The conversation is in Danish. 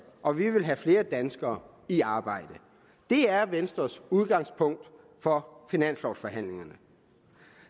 og vi vil have flere danskere i arbejde det er venstres udgangspunkt for finanslovforhandlingerne